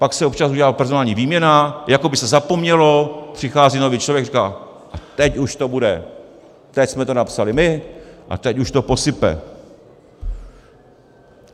Pak se občas udělá personální výměna, jako by se zapomnělo, přichází nový člověk a říká - teď už to bude, teď jsme to napsali my a teď už to posype.